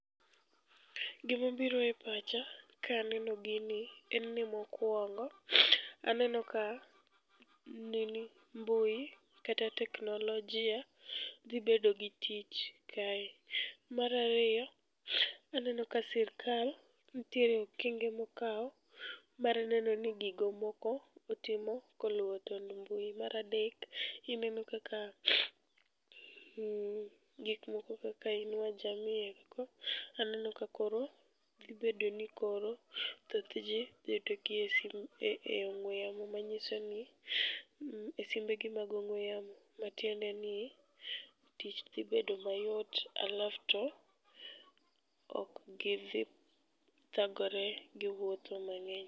Gimobiro e pacha kaneno gini en ni mokwongo, aneno ka mbui kata teknolojia dhi bedo gi tich kae. Marariyo, aneno ka sirkal nitiere okenge mokawo mar neno ni gigo moko otimo koluwo tond mbui. Maradek, ineno kaka gik moko kaka Inua Jamii eko aneno ka koro dhi bedo ni koro thoth ji dhi yudogi e simu e ong'we yamo manyiso ni e simbegi mag ong'we yamo. Matiende ni tich dhi bedo mayot alafu to ok gidhi thagore gi wuotho mang'eny.